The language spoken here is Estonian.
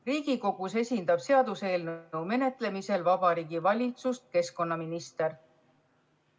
Riigikogus esindab seaduseelnõu menetlemisel Vabariigi Valitsust keskkonnaminister.